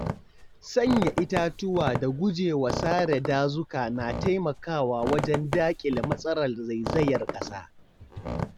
Sanya itatuwa da gujewa sare dazuka na taimakawa wajen dakile matsalar zaizayar ƙasa.